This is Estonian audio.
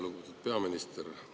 Lugupeetud peaminister!